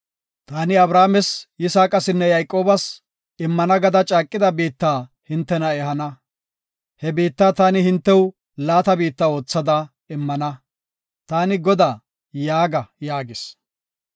Taani Abrahaames, Yisaaqasinne Yayqoobas immana gada caaqida biitta hintena ehana. He biitta taani hintew laata biitta oothada immana. Taani Godaa’ yaaga” yaagis.